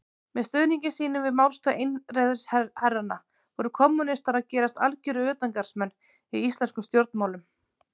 Með stuðningi sínum við málstað einræðisherranna voru kommúnistar að gerast algjörir utangarðsmenn í íslenskum stjórnmálum.